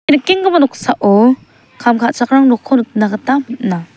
nikenggipa noksao kam ka·chakram nokko nikna gita man·a.